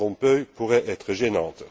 Van Rompuy pourrait être gênante.